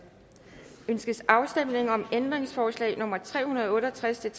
ønskes afstemning om ændringsforslag nummer tre hundrede og otte og tres til